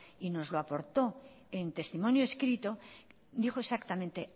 y nos lo aportó en testimonio escrito dijo exactamente